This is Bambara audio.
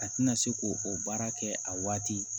A tɛna se k'o o baara kɛ a waati